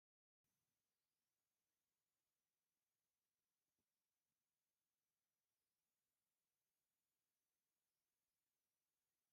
ናብ ደብረዳሞ ገዳም ቤተ ክርስትያን ሓደ ሰብ ይድይብ ኣሎ ። እቲ ገዳም ቁሞቱ ክንደይ ሜትሮ እዩ ኣበይ ከ ይርከብ ?